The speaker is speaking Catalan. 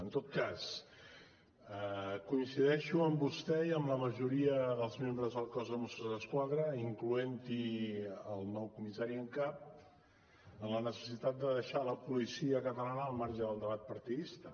en tot cas coincideixo amb vostè i amb la majoria dels membres del cos de mossos d’esquadra incloent hi el nou comissari en cap en la necessitat de deixar la policia catalana al marge del debat partidista